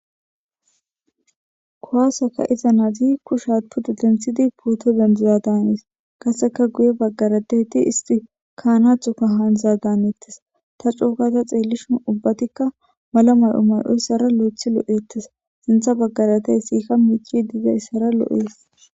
Kowaasaka iza naazi kushaatpudu denthidi pooto dendiza daanes kaseka guye baggaradeyti histi kaanathoka haandiza daanettes ta cuukata xeellishun ubbatikka mala may'o may'oyssara lo'eth lo'eettes sintha baggaratey siikka miici diidayssara lo'ees.